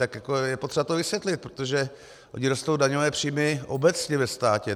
Tak je potřeba to vysvětlit, protože ony rostou daňové příjmy obecně ve státě.